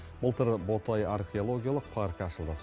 былтыр ботай археологиялық паркі ашылды